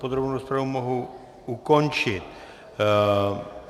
Podrobnou rozpravu mohu ukončit.